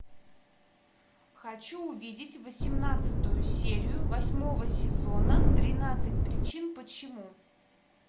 хочу увидеть восемнадцатую серию восьмого сезона тринадцать причин почему